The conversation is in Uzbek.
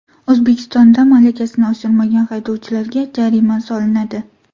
O‘zbekistonda malakasini oshirmagan haydovchilarga jarima solinadi.